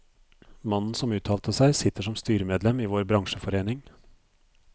Mannen som uttalte seg, sitter som styremedlem i vår bransjeforening.